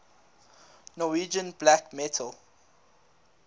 norwegian black metal